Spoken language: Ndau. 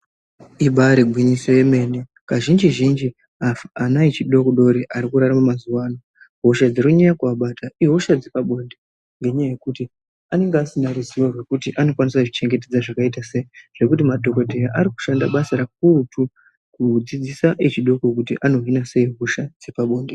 Ibare gwinyiso yemene, kazhinji zhinji ana echidodori arikurarame mazuwaano, hosha dzirikunyanye kuvabata ihosha dzepabonde nenyaya yekuti anenge asina ruzivo rwekuti anokwanisa kuzvichengetedza zvakaita seyi zvekuti madhogodheya arikushanda basa rukukutu kudzidzisa vezvidoko kuti anohina seyi hosha dzepabonde.